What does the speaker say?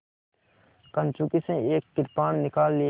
कंचुकी से एक कृपाण निकाल लिया